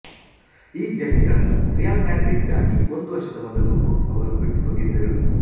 ಈ ಜೆರ್ಸಿಗಳನ್ನು Real Madrid ಗಾಗಿ ಒಂದು ವರ್ಷದ ಮೊದಲು ರುಡ್ ಅವರು ಬಿಟ್ಟುಹೋಗಿದ್ದರು